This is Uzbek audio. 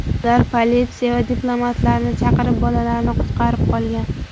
Ular politsiya va diplomatlarni chaqirib, bolalarni qutqarib qolgan.